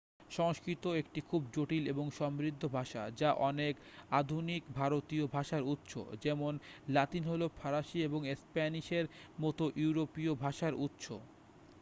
সংস্কৃত একটি খুব জটিল এবং সমৃদ্ধ ভাষা যা অনেক আধুনিক ভারতীয় ভাষার উৎস যেমন লাতিন হল ফরাসি এবং স্প্যানিশের মতো ইউরোপীয় ভাষার উৎস